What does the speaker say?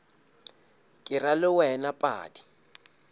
ke ra le wena padi